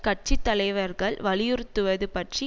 கட்சி தலைவர்கள் வலியுறத்துவது பற்றி